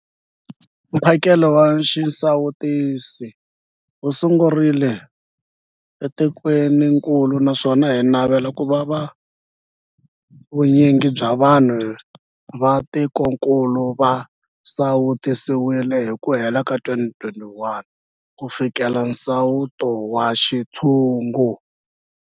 Mphakelo wa xisawutisi wu sungurile etikwenikulu naswona hi navela ku va vu nyingi bya vanhu va tikokulu va sawutisiwile hi ku hela ka 2021 ku fikelela nsawuto wa xintshungu.